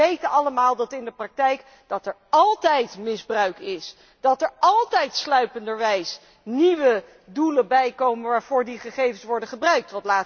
Wij weten echter allemaal dat er in de praktijk altijd misbruik is en er altijd sluipenderwijs nieuwe doelen bijkomen waarvoor die gegevens worden gebruikt.